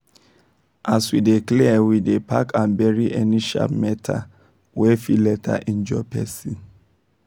as we dey clear we dey pack and bury any sharp metal wey fit later injure person